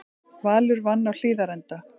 Valur vann á Hlíðarenda